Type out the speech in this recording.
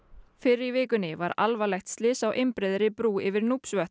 fyrr í vikunni var alvarlegt slys á einbreiðri brú yfir